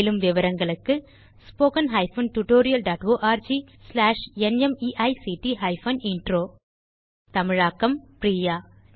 மேலும் விவரங்களுக்கு 1 தமிழாக்கம் பிரியா